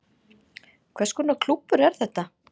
Hvers konar klúbbur er þetta